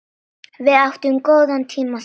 Við áttum góða tíma saman.